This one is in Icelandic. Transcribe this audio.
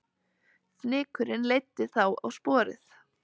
Fnykurinn leiddi þá á sporið